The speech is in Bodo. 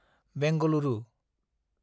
बेंगलुरु